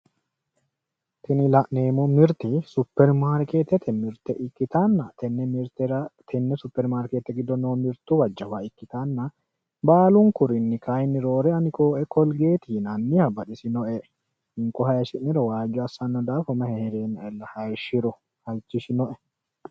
tini la'neemmo mirte supermaarkeetete mirte ikkitanna tenne mirtera tenne supermaarkeete giddo noo mirtuwa jawate ikkitanna baalunkurinni kayiinni roore ani kooee kolgeeti yinanniha baxisannoe hinko hayiishshiniro waajjo assanno daafira mayi heereennaella hayiishiro halchishinoe.